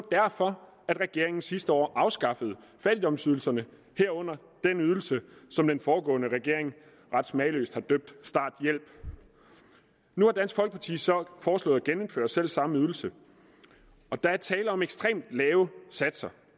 derfor at regeringen sidste år afskaffede fattigdomsydelserne herunder den ydelse som den foregående regering ret smagløst har døbt starthjælp nu har dansk folkeparti så foreslået at genindføre selvsamme ydelse der er tale om ekstremt lave satser